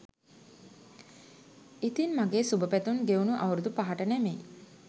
ඉතින් මගේ සුබපැතුම් ගෙවුණු අවුරුදු පහට නෙමෙයි